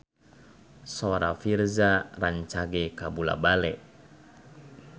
Sora Virzha rancage kabula-bale